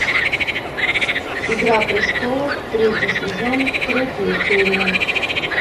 игра престолов третий сезон третья серия